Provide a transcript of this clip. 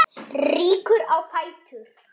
Rýkur á fætur.